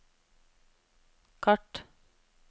kart